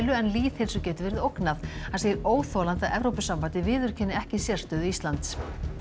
en lýðheilsu geti verið ógnað hann segir óþolandi að Evrópusambandið viðurkenni ekki sérstöðu Íslands